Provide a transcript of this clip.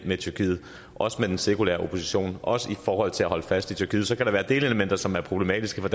med tyrkiet også med den sekulære opposition også i forhold til at holde fast i tyrkiet så kan der være delelementer som er problematiske for